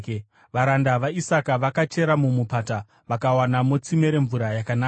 Varanda vaIsaka vakachera muMupata vakawanamo tsime remvura yakanaka.